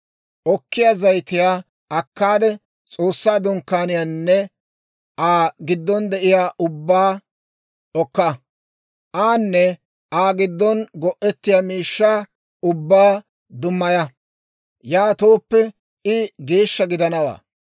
«Okkiyaa zayitiyaa akkaade, S'oossaa Dunkkaaniyaanne Aa giddon de'iyaa ubbabaa okka; aanne Aa giddon go'ettiyaa miishshaa ubbaa dummaya; yaatooppe I geeshsha gidanawaa.